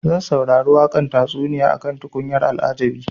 Zan saurari tatsuniya akan tukunyar al'ajabi.